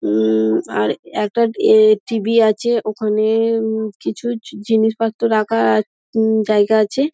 উম আর এ একটা এ টি.ভি আছে ওখানে-এ উমঃ কিছু জিনিসপত্র রাখার উম জায়গা আছে ।